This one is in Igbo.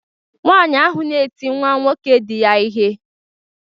Nwanyị ahụ na-eti nwa nwoke diya ihe